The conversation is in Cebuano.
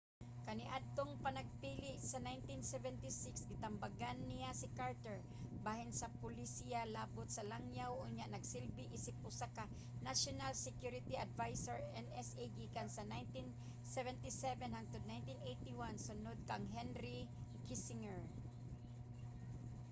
kaniadtong panagpili sa 1976 gitambagan niya si carter bahin sa polisiya labot sa langyaw unya nagsilbi isip usa ka national security advisor nsa gikan 1977 hangtod 1981 sunod kang henry kissinger